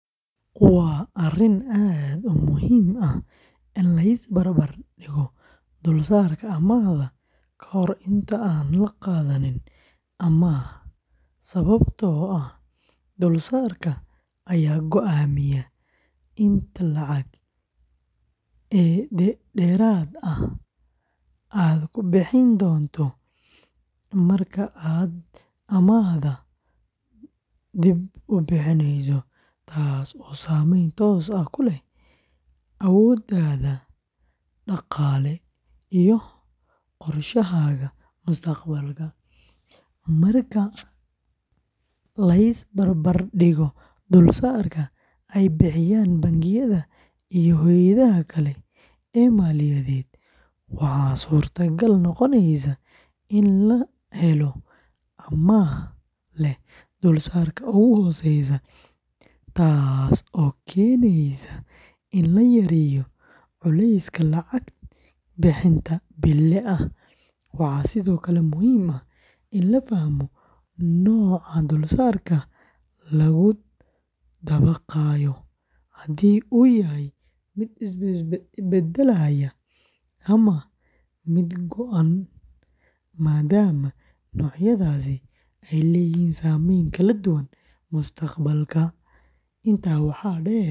Waa arrin aad u muhiim ah in la is barbar dhigo dulsaarka amaahda ka hor inta aan la qaadanin amaah sababtoo ah dulsaarka ayaa go’aamiya inta lacag ee dheeraad ah aad ku bixin doonto marka aad amaahda dib u bixineyso, taasoo saameyn toos ah ku leh awooddaada dhaqaale iyo qorshahaaga mustaqbalka. Marka la is barbar dhigo dulsaarka ay bixiyaan bangiyada iyo hay’adaha kale ee maaliyadeed, waxaa suurtagal noqonaysa in la helo amaah leh dulsaarka ugu hooseeya, taasoo keeneysa in la yareeyo culayska lacag bixinta bille ah. Waxaa sidoo kale muhiim ah in la fahmo nooca dulsaarka lagu dabaqayo haddii uu yahay mid isbeddelaya ama mid go’an maadaama noocyadaasi ay leeyihiin saameyn kala duwan mustaqbalka. Intaa waxaa dheer.